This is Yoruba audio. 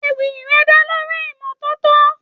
Ewì rẹ̀ dá lórí ìmọ́tótó.